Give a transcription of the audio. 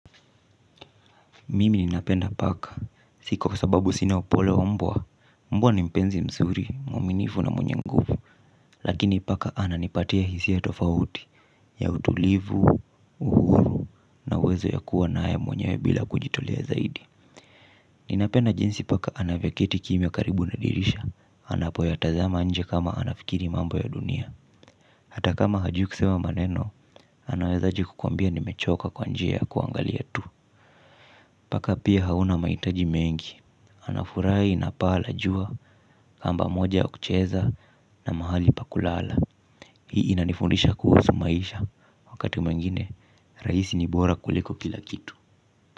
Mimi ninapenda paka, si kwa sababu sina upole wa mbwa, mbwa ni mpenzi msuri, mwaminifu na mwenye nguvu, lakini paka ananipatia hisia tofauti, ya utulivu, uhuru, na uwezo ya kuwa na haya mwenyewe bila kujitolea zaidi. Ninapenda jinsi paka anavyoketi kimya karibu na dirisha, anapoyatazama nje kama anafikiri mambo ya dunia, hata kama hajui kusema maneno, anawezaje kukuambia nimechoka kwa njia ya kuangalia tu. Paka pia hauna mahitaji mengi, anafurai na paa la jua kamba moja ya kucheza na mahali pa kulala. Hii inanifundisha kuhusu maisha, wakati mwengine, rahisi ni bora kuliko kila kitu.